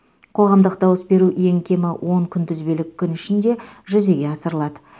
қоғамдық дауыс беру ең кемі он күнтізбелік күн ішінде жүзеге асырылады